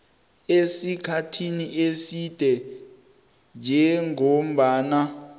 esikhathini eside njengombana